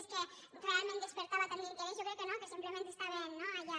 és que realment despertava tant d’interès jo crec que no que simplement estaven no allà